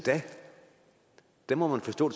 da må man forstå